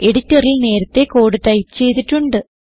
എഡിറ്ററിൽ നേരത്തേ code type ചെയ്തിട്ടുണ്ട്